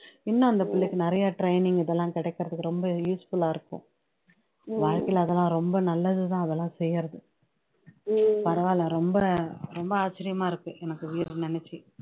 இன்னும் அந்த பிள்ளைக்கு நிறையா training இதெல்லாம் கிடைக்கிறதுக்கு ரொம்ப இது useful ஆ இருக்கும் வாழ்க்கைல அதெல்லாம் ரொம்ப நல்லதுதான் அதெல்லாம் செய்யுறது பரவாயில்லை ரொம்ப ரொம்ப ஆச்சரியமா இருக்கு எனக்கு வீர நினைச்சு